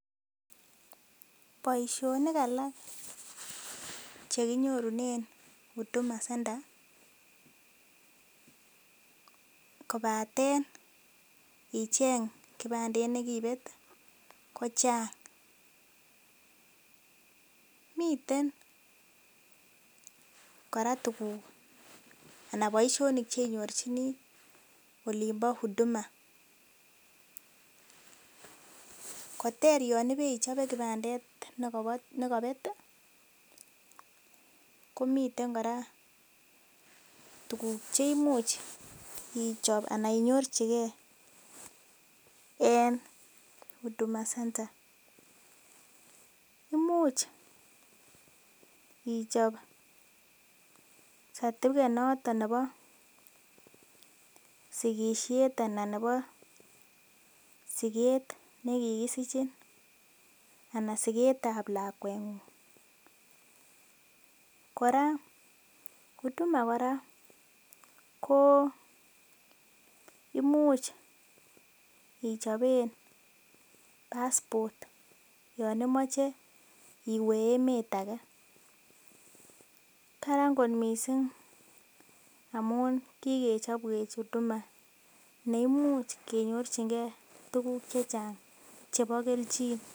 Boisionik alak chekinyorunen Huduma centre, kobaten icheng kibandet nekibet kochang, miten kora tuguk anan boisionik cheinyorchin olimpo Huduma centre, koter yon ibeichobe kipandet nekobet, komiten kora tuguk cheimuch ichop anan inyorchike en Huduma centre, imuch ichop certificate noton ne bo sigisiet anan ne bo siget nekigisichin, anan sigetab lakwengung, kora huduma kora koo imuch ichoben passport yon imoche iwee emet akee, karan kot missing amun kikechopwe Huduma neimuch kenyorchingee tuguk chechang chebo kelchin.